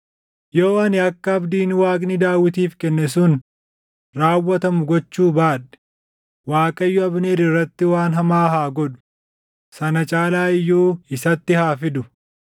Yoo ani akka abdiin Waaqni Daawitiif kenne sun raawwatamu gochuu baadhe Waaqayyo Abneer irratti waan hamaa haa godhu; sana caalaa iyyuu isatti haa fidu;